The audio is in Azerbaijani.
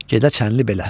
Gedə çənli belə.